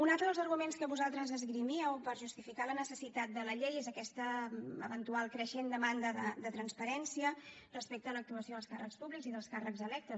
un altre dels arguments que vosaltres esgrimíeu per justificar la necessitat de la llei és aquesta eventual creixent demanda de transparència respecte a l’actuació dels càrrecs públics i dels càrrecs electes